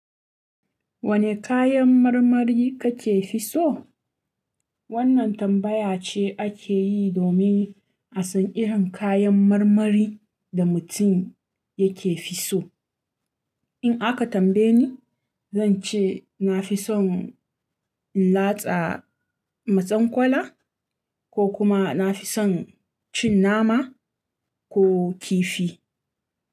Wane kayan marmari kake fi so? Wannan tambaya ce ake yi domin a san irin kayan marmari da mutum yake fi so. In aka tambaye ni, zan ce na fi son in latsa matsenkwala ko kuma na fi son cin nama ko kifi.